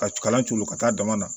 Ka co ka coolo ka taa dama na